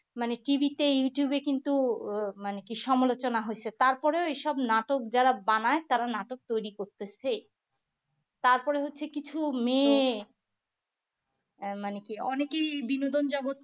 মানে TV তে youtube এ কিন্তু আহ মানে কি সমালোচনা হয়েছে তারপরে এসব নাটক যারা বানায় তারা নাটক তৈরি করতেছে তারপরে হচ্ছে কিছু মেয়ে আহ মানে কি অনেকে বিনোদন জগত